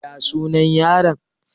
Ya suna yaron?